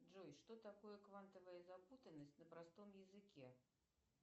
джой что такое квантовая запутанность на простом языке